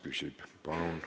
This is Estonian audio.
Palun!